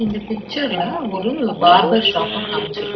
இந்த பிச்சர்ல ஒரு பார்பர் ஷாப்ப காம்ச்சிரு--